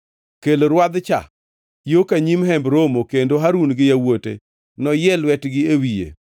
“Kel rwadh-cha yo ka nyim Hemb Romo kendo Harun gi yawuote noyie lwetgi e wiye.